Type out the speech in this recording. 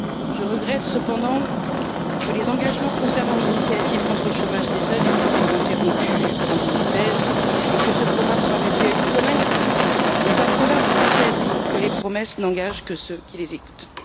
Je regrette cependant que les engagements concernant l'initiative contre le chômage des jeunes aient été interrompus en 2016 et que ce programme en soit réduit à une promesse, un proverbe français disant que les promesses n'engagent que ceux qui les écoutent.